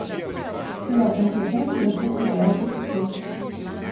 Celoten klepet si lahko preberete tukaj.